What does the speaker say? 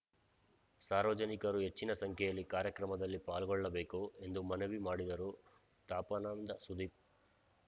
ಸಾರ್ವಜನಿಕರು ಹೆಚ್ಚಿನ ಸಂಖ್ಯೆಯಲ್ಲಿ ಕಾರ್ಯಕ್ರಮದಲ್ಲಿ ಪಾಲ್ಗೊಳ್ಳಬೇಕು ಎಂದು ಮನವಿ ಮಾಡಿದರು ತಾಪಂನ ಸುದೀಪ್‌